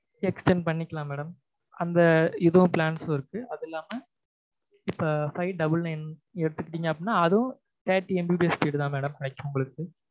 extent பண்ணிக்கலாம் madam அந்த இதும் plans ல இருக்கு அதும் இல்லாம இப்ப five double nine எடுத்துக்கிட்டீங்க அப்டீனா அதும் thirty MBPS speed தான் madam கிடைக்கும் உங்களுக்கு